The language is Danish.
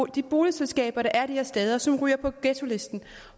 de boligselskaber der er de steder som ryger på ghettolisten